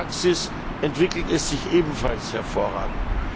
In der Praxis entwickelt es sich ebenfalls hervorragend.